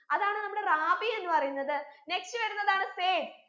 അതാണ് നമ്മുടെ റാബി എന്ന് പറയുന്നത് next വരുന്നതാണ് സയ്ദ്